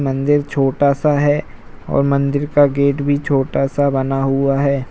मंदिर छोटा सा है और मंदिर का गेट भी छोटा सा बना हुआ है |